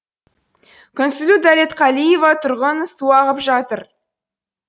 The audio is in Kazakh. күнсұлу дәлетқалиева тұрғын су ағып жатыр